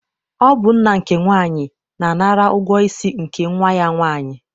Ọ bụ nna nke nwaanyị na-anara ụgwọ isi nke nnwa ya nwaanyị.